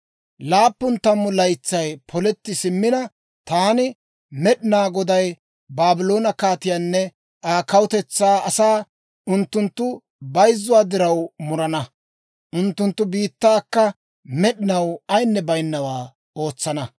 « ‹Laappun tammu laytsay poletti simmina, taani Med'inaa Goday Baabloone kaatiyaanne Aa kawutetsaa asaa unttunttu bayzzuwaa diraw murana; unttunttu biittaakka med'inaw ayinne baynawaa ootsana.